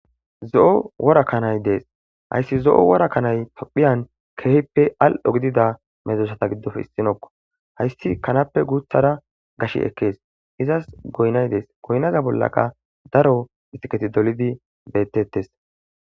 zo7o wora kanay dees hayssi zo7o wora kanay tophiyan keehippe al7o gidida medzosata giddof issinokko hayssi kanappe guuthara gash ekkees izas goynay dees goynaza bollaka daro istiketi dolidi bettettes